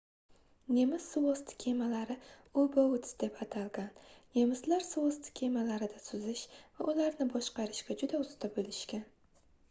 nemis suvosti kemalari u-boats deb atalgan nemislar suvosti kemalarida suzish va ularni boshqarishga juda usta boʻlishgan